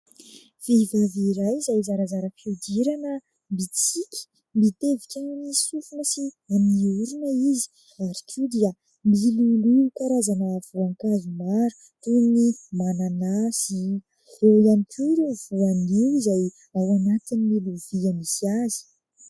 Vehivavy iray izay zarazara fihodirana mitsiky, mitevika amin'ny sofina sy amin'ny orona izy ary koa dia miloloha karazana voankazo maro toy ny mananasy, eo ihany koa ireo voanio izay ao anatin'ny lovia izay misy azy.